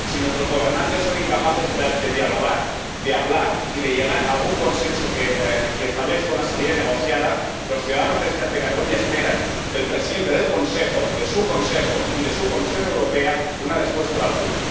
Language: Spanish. Si nuestros gobernantes son incapaces de dialogar, de hablar y de llegar a algún consenso que establezca una salida negociada, los ciudadanos de Cataluña esperan del presidente del Consejo, de su Consejo y de su Comisión Europea una respuesta a la altura.